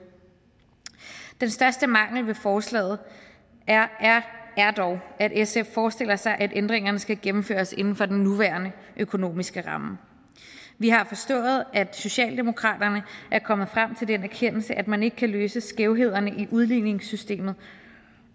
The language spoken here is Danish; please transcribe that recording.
den største mangel ved forslaget er dog at sf forestiller sig at ændringerne skal gennemføres inden for den nuværende økonomiske ramme vi har forstået at socialdemokratiet er kommet frem til den erkendelse at man ikke kan løse skævhederne i udligningssystemet